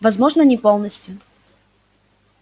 возможно не полностью